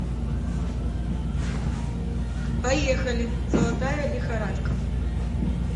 поехали золотая лихорадка